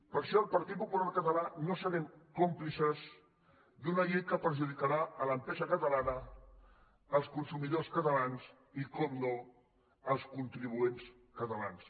per això el partit popular català no serem còmplices d’una llei que perjudicarà l’empresa catalana els consumidors catalans i per descomptat els contribuents catalans